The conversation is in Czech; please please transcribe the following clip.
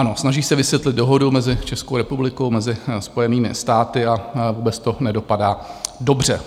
Ano, snaží se vysvětlit dohodu mezi Českou republikou a Spojenými státy a vůbec to nedopadá dobře.